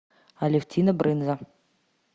алевтина брынза